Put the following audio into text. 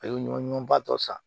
A ye ɲɔ ɲɔnba tɔ san